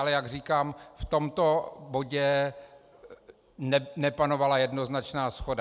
Ale jak říkám, v tomto bodě nepanovala jednoznačná shoda.